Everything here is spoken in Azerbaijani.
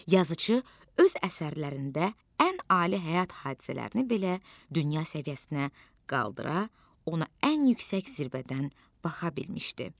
Yazıçı öz əsərlərində ən ali həyat hadisələrini belə dünya səviyyəsinə qaldıra, ona ən yüksək zirvədən baxa bilmişdi.